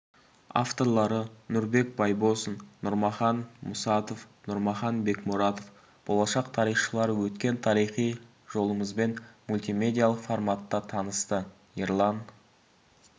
авторлары нұрбек байбосын нұрмахан мұсатов нұрмахан бекмұратов болашақ тарихшылар өткен тарихи жолымызбен мультимедиялық форматта танысты ерлан